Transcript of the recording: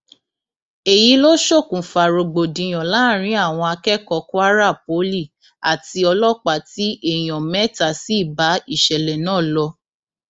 èyí ló ṣokùnfà rògbòdìyàn láàrin àwọn akẹkọọ kwara poli àti ọlọpàá tí èèyàn mẹta sì bá ìṣẹlẹ náà lọ